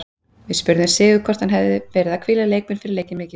Við spurðum Sigurð hvort hann hafi verið að hvíla leikmenn fyrir leikinn mikilvæga?